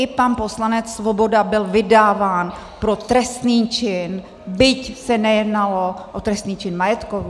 I pan poslanec Svoboda byl vydáván pro trestný čin, byť se nejednalo o trestný čin majetkový.